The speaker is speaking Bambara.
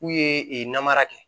K'u ye ee namara kɛ